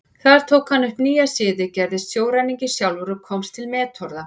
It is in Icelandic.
Þar tók hann upp nýja siði, gerist sjóræningi sjálfur og komst til metorða.